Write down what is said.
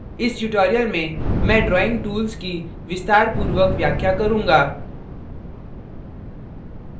इस tutorial में मैं drawing tools की विस्तारपूर्वक व्याख्या करूँगा